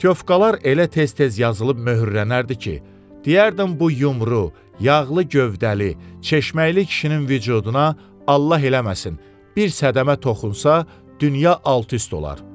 Pütovkalar elə tez-tez yazılıb möhürlənərdi ki, deyərdim bu yumru, yağlı gövdəli, çeşməli kişinin vücuduna Allah eləməsin, bir səddəmə toxunsa, dünya alt-üst olar.